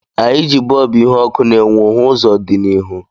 Anyị ji bọlbụ ihu ọkụ na-enwu hu ụzọ dị n'ihu